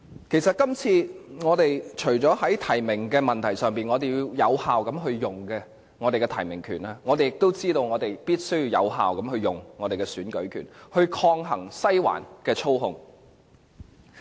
其實，我們今次除了要有效運用我們的提名權外，我們也知道必須有效運用我們的選舉權，以抗衡"西環"的操控。